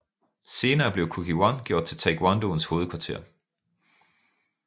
Senere blev Kukkiwon gjort til Taekwondos hovedkvarter